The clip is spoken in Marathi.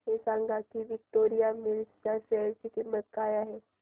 हे सांगा की विक्टोरिया मिल्स च्या शेअर ची किंमत काय आहे